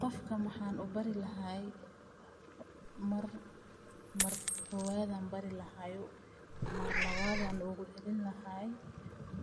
Qofkan waxa ubari lahay mar kowaad ayan bari lahay mar lawad ogucelini lahay